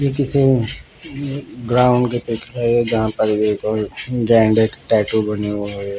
ये किसी ग्राउंड की पिक है जहा पर एक और ब्रांडेड टैटू बने हुए है.